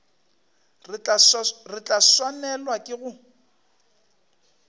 re tla swanelwa ke go